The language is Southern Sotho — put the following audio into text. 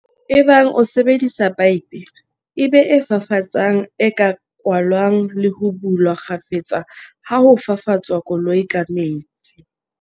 Ebang o sebedisa paepe, e be e fafatsang e ka kwalwang le ho bulwa kgafetsa ha ho fafatswa koloi ka metsi.